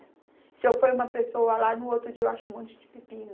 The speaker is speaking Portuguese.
Se eu ponho uma pessoa lá, no outro dia eu acho um monte de pepino.